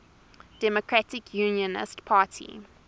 democratic unionist party